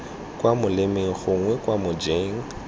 kwa molemeng gongwe kwa mojeng